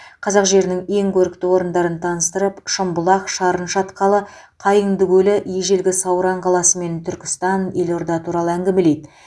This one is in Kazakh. қазақ жерінің ең көрікті орындарын таныстырып шымбұлақ шарын шатқалы қайыңды көлі ежелгі сауран қаласы мен түркістан елорда туралы әңгімелейді